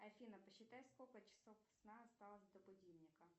афина посчитай сколько часов сна осталось до будильника